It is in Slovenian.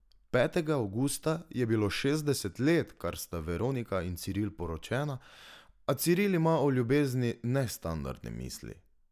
Petega avgusta je bilo šestdeset let, kar sta Veronika in Ciril poročena, a Ciril ima o ljubezni nestandardne misli.